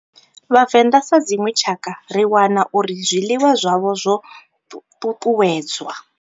Vhavenda sa dzinwe tshakha ri wana uri zwiḽiwa zwavho zwo tutuwedzwa.